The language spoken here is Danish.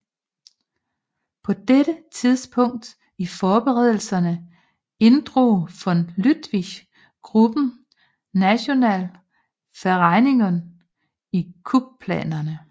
På dette tidspunkt i forberedelserne inddrog von Lüttwitz gruppen Nationale Vereinigung i kupplanerne